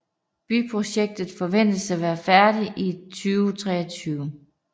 Byprojektet forventes at være færdig i 2023